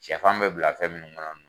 Sɛfan bɛ bila fɛn munnu kɔnɔ